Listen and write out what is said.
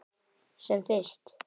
Sem fyrst.